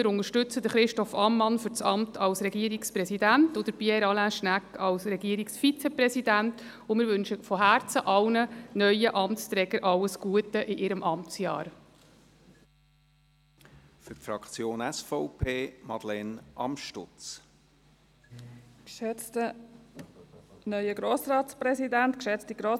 Wir unterstützen Christoph Ammann für das Amt des Regierungspräsidenten sowie Pierre Alain Schnegg als Regierungsvizepräsidenten und wünschen allen neuen Amtsträgern von Herzen alles Gute in ihrem Amtsjahr.